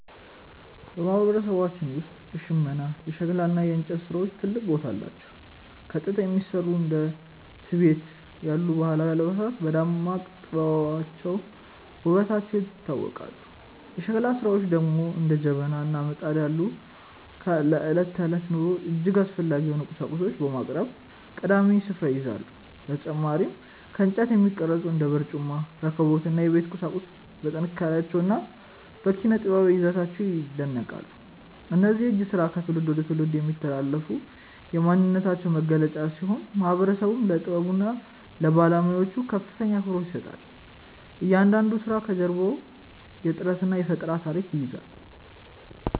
በማህበረሰባችን ውስጥ የሽመና፣ የሸክላ እና የእንጨት ስራዎች ትልቅ ቦታ አላቸው። ከጥጥ የሚሰሩ እንደ ቲቤት ያሉ ባህላዊ አልባሳት በደማቅ ጥበባቸውና ውበታቸው ይታወቃሉ። የሸክላ ስራዎች ደግሞ እንደ ጀበና እና ምጣድ ያሉ ለዕለት ተዕለት ኑሮ እጅግ አስፈላጊ የሆኑ ቁሳቁሶችን በማቅረብ ቀዳሚውን ስፍራ ይይዛሉ። በተጨማሪም ከእንጨት የሚቀረጹ እንደ በርጩማ፣ ረከቦት እና የቤት ቁሳቁሶች በጥንካሬያቸውና በኪነ-ጥበባዊ ይዘታቸው ይደነቃሉ። እነዚህ የእጅ ስራዎች ከትውልድ ወደ ትውልድ የሚተላለፉ የማንነታችን መገለጫዎች ሲሆኑ፣ ማህበረሰቡም ለጥበቡና ለባለሙያዎቹ ከፍተኛ አክብሮት ይሰጣል። እያንዳንዱ ስራ ከጀርባው የጥረትና የፈጠራ ታሪክ ይዟል።